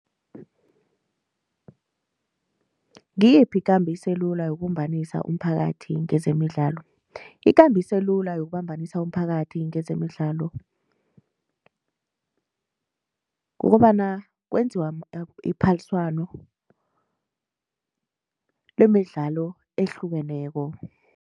Ngiyiphi kambiso elula yokubumbanisa umphakathi ngezemidlalo, ikambiso elula yokubambanisa umphakathi kwezemidlalo kukobana kwenziwa iphaliswano lemidlalo ehlukeneko.